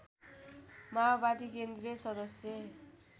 माओवादी केन्द्रीय सदश्य